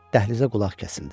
Dəhlizə qulaq kəsildi.